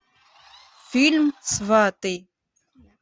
фильм сваты